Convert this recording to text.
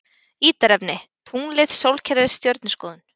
Ítarefni: Tunglið Sólkerfið Stjörnuskoðun.